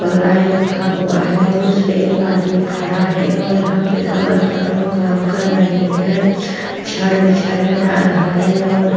पलाई रखा हुआ है और उस पे एक आदमी खड़ा है और यहाँ पे संवर कर लोग काम कर रहै हैं छड़ बिछाया जा रहा है और --